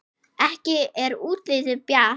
Ekki er útlitið bjart!